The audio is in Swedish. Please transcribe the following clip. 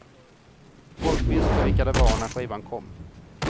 Folk visste vilka de var när skivan kom.